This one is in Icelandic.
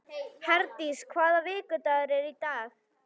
Herdís, hvaða vikudagur er í dag?